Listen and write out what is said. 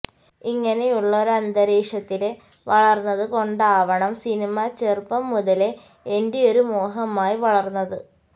ഇങ്ങനെയുള്ള ഒരന്തരീക്ഷത്തില് വളര്ന്നത് കൊണ്ടാവണം സിനിമ ചെറുപ്പം മുതലേ എന്റെയൊരു മോഹമായി വളര്ന്നത്